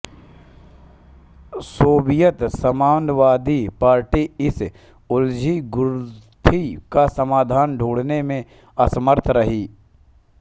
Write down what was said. Soviet साम्यवादी party इस उलझी गुत्थी का समाधन ढूँढने में असमर्थ रही